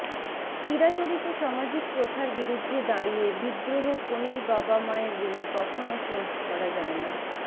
চিরাচরিত সামাজিক প্রথার বিরুদ্ধে দাঁড়িয়ে বিদ্রোহ কনের বাবা মায়ের ঋণ কখনও শোধ করা যায়না